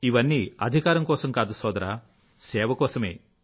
ఇవన్నీ అధికారం కోసం కాదు సోదరా సేవ కోసమే